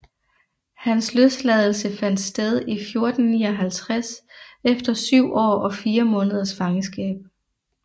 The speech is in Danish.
Hans løsladelse fandt sted i 1459 efter syv år og fire måneders fangenskab